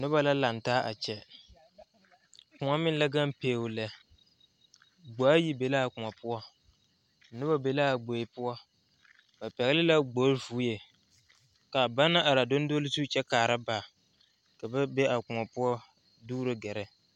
Noba la laŋ taa a kyɛ kõɔ meŋ la gaŋ beo lɛ gboe ayi be la a kõɔ poɔ noba be la a gboe poɔ ba pɛgle la gboe vɔɛ ka bana are a dondole zu kyɛ kaara ba ka ba be a kõɔ poɔ a dugro gɛrɛ.